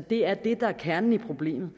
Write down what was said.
det er det der er kernen i problemet